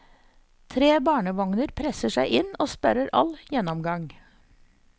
Tre barnevogner presser seg inn og sperrer all gjennomgang.